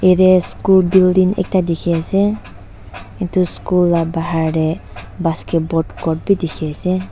yte school building ekta dikhiase edu school la bahar tae basketball court bi dikhiase.